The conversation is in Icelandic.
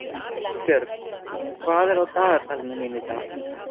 Ástbjörg, hvað er á dagatalinu mínu í dag?